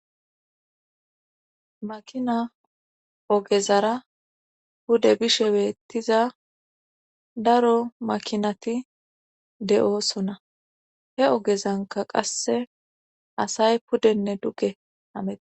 Makina ogezara hude bishe beettiza daro makinati de7oosona he ogezanka qasse asay pudenne dugge hameee